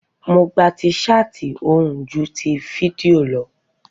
Mo gba ti ṣáàtì ohùn ju ti fídíò lọ